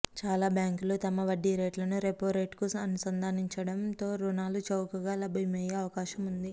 చాలా బ్యాంకులు తమ వడ్డీ రేట్లను రెపో రేట్కు అనుసంధానిస్తుండడంతో రుణాలు చౌకగా లభ్యమయ్యే అవకాశం ఉంది